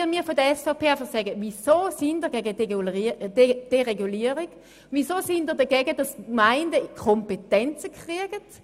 Ich möchte von der SVP hören, weshalb sie gegen Deregulierung ist, weshalb sie dagegen ist, dass die Gemeinden Kompetenzen erhalten.